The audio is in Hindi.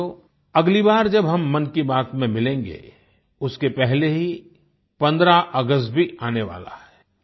साथियो अगली बार जब हम मन की बात में मिलेंगे उसके पहले ही 15 अगस्त भी आने वाला है